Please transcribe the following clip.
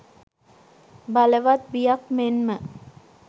බලවත් බියක් මෙන්ම